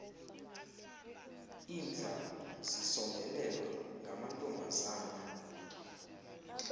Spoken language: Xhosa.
indlam zisombelelwa ngamantombazana